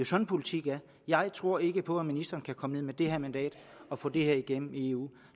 sådan politik er jeg tror ikke på at ministeren kan komme ned med det her mandat og få det igennem i eu